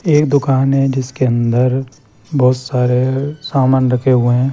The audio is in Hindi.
एक दुकान है जिसके अंदर बहुत सारे सामान रखे हुए है।